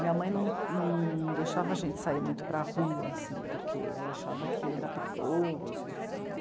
Minha mãe não, não deixava a gente sair muito para rua, assim, porque ela achava que era perigoso, enfim.